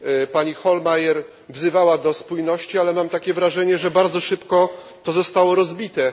Pani Hohlmeier wzywała do spójności, ale mam takie wrażenie, że bardzo szybko jedność została rozbita.